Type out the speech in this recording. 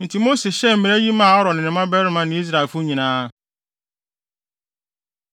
Enti Mose hyɛɛ mmara yi maa Aaron ne ne mmabarima ne Israelfo nyinaa.